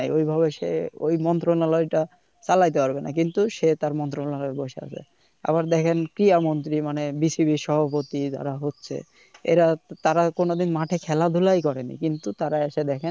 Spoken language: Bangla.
ঐ ভাবে সে ঐ মন্ত্রনালয় টা চালাইতে পারবে না, কিন্তু সে তার মন্ত্রণালয়ে বসে আছে আবার দেখেন কি ক্রিড়া মন্ত্রি মানে BCB এর সভাপতি যারা হচ্ছে এরা তারা কোন দিন মাঠে খেলা ধুলাই করেনি কিন্তু তারা একে দেখেন